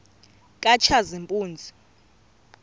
katshazimpuzi